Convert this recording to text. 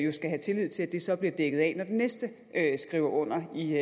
have tillid til at det så bliver dækket af når den næste skriver under i